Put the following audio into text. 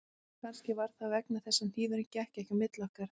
Kannski var það vegna þess að hnífurinn gekk ekki milli okkar